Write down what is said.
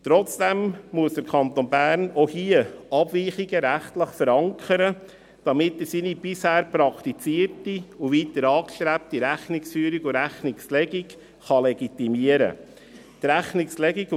Trotzdem muss der Kanton Bern auch hier Abweichungen rechtlich verankern, damit er seine bisher praktizierte und weiter angestrebte Rechnungsführung und Rechnungslegung legitimieren kann.